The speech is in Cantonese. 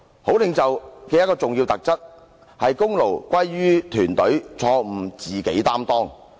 好領袖的一個重要特質，是功勞歸於團隊，錯誤自己承當。